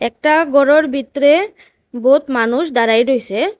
একটা গরের বিতরে বহুত মানুষ দাঁড়াই রইসে।